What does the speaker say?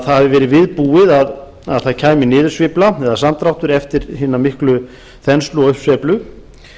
það hafi verið viðbúið að það kæmi niðursveifla eða samdráttur eftir hina miklu þenslu og uppsveiflu